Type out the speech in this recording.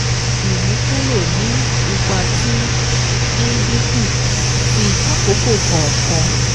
Ìmúkúrò ní ipa ti ìdínkù ti àkókò kọ̀ọ̀kan